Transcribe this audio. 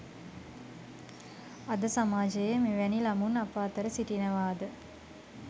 අද සමාජයේ මෙවැනි ළමුන් අප අතර සිටිනවාද